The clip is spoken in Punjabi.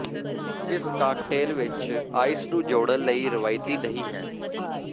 ਇਸ ਕਾਕਟੇਲ ਵਿੱਚ ਆਈਸ ਨੂੰ ਜੋੜਨ ਲਈ ਰਵਾਇਤੀ ਨਹੀਂ ਹੈ